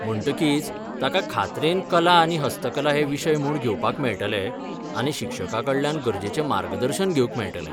म्हणटकीच, ताका खात्रेन कला आनी हस्तकला हे विशय म्हूण घेवपाक मेळटले आनी शिक्षकाकडल्यान गरजेचें मार्गदर्शन घेवंक मेळटलें.